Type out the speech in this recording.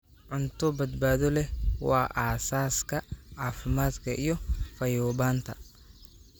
Cunto badbaado leh waa aasaaska caafimaadka iyo fayoobaanta.